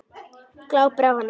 Glápir á hana.